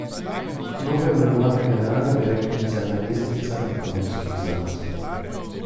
Novoimenovana generalna direktorica je magistrica ekonomskih znanosti.